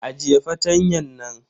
Ajiye fartanyan nan.